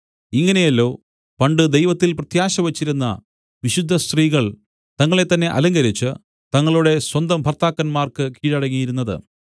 ഇങ്ങനെയല്ലോ പണ്ട് ദൈവത്തിൽ പ്രത്യാശ വച്ചിരുന്ന വിശുദ്ധസ്ത്രീകൾ തങ്ങളെത്തന്നെ അലങ്കരിച്ച് തങ്ങളുടെ സ്വന്തം ഭർത്താക്കന്മാർക്ക് കീഴടങ്ങിയിരുന്നത്